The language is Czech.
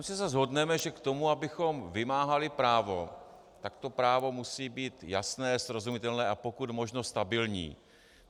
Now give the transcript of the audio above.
Myslím, že se shodneme, že k tomu, abychom vymáhali právo, tak to právo musí být jasné, srozumitelné a pokud možno stabilní.